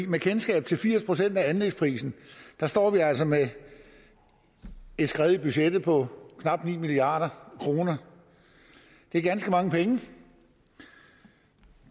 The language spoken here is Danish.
med kendskab til firs procent af anlægsprisen står vi altså med et skred i budgettet på knap ni milliard kroner det er ganske mange penge